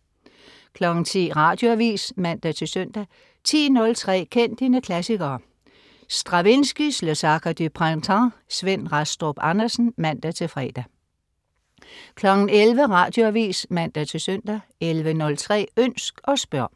10.00 Radioavis (man-søn) 10.03 Kend dine klassikere. Stravinskijs Le Sacre du Printemps. Svend Rastrup Andersen (man-fre) 11.00 Radioavis (man-søn) 11.03 Ønsk og spørg.